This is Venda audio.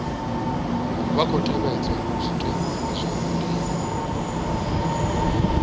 khou tevhedzwa zwitenwa zwa ndima